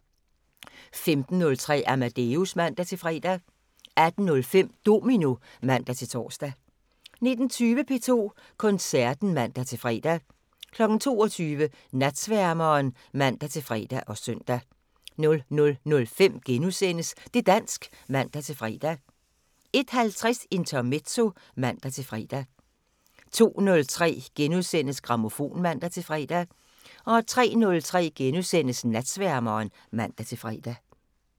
15:03: Amadeus (man-fre) 18:05: Domino (man-tor) 19:20: P2 Koncerten (man-fre) 22:00: Natsværmeren (man-fre og søn) 00:05: Det' dansk *(man-fre) 01:50: Intermezzo (man-fre) 02:03: Grammofon *(man-fre) 03:03: Natsværmeren *(man-fre)